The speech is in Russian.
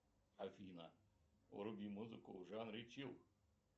афина вруби музыку в жанре чилл